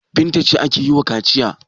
Binta ce ake yi wa kaciya.